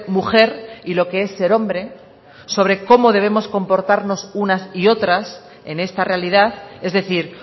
mujer y lo que es ser hombre sobre cómo debemos comportarnos unas y otras en esta realidad es decir